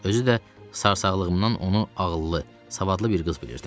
Özü də sarsaqlığımdan onu ağıllı, savadlı bir qız bilirdim.